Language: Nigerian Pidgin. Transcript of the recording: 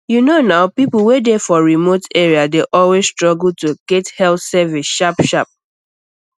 you know nah people wey dey for remote um areas dey always struggle to get health service sharpsharp